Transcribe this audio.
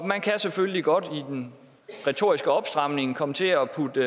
man kan selvfølgelig godt i den retoriske opstramning komme til at putte